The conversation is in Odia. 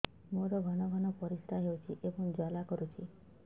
ମୋର ଘନ ଘନ ପରିଶ୍ରା ହେଉଛି ଏବଂ ଜ୍ୱାଳା କରୁଛି